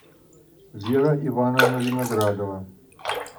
вера ивановна виноградова